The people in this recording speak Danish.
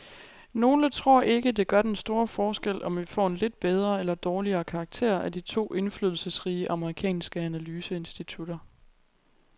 Nogle tror ikke, det gør den store forskel, om vi får en lidt bedre eller dårligere karakter af de to indflydelsesrige amerikanske analyseinstitutter.